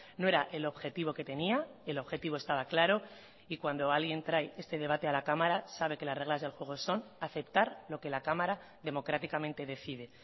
no era el objetivo que tenía el objetivo estaba claro y cuando alguien trae este debate a la cámara sabe que las reglas del juego son aceptar lo que la cámara democráticamente decide